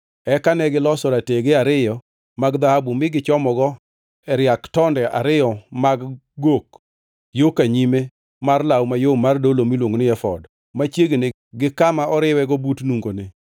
Eka negiloso ratege ariyo mag dhahabu mi gichomogi e riak tonde ariyo mag gok yo ka nyime mar law mayom mar dolo miluongo ni efod machiegni gi kama oriwego but nungone.